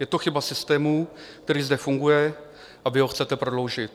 Je to chyba systému, který zde funguje, a vy ho chcete prodloužit.